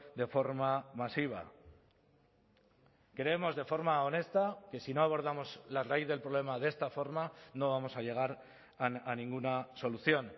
de forma masiva creemos de forma honesta que si no abordamos la raíz del problema de esta forma no vamos a llegar a ninguna solución